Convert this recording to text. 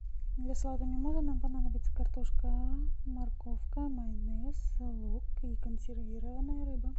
для салата мимоза нам понадобится картошка морковка майонез лук и консервированная рыба